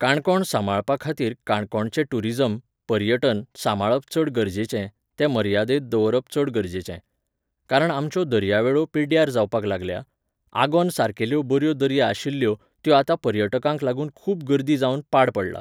काणकोण सांबाळपाखातीर काणकोणचें ट्युरिजम, पर्यटन, साबांळप चड गरजेचें, तें मर्यादेंत दवरप चड गरजेचें. कारण आमच्यो दर्यावेळो पिड्ड्यार जावपाक लागल्या, आगोंद सारकेल्यो बऱ्यो दर्या आशिल्यो, त्यो आतां पर्यटकांक लागून खूब गर्दी जावन पाड पडलां.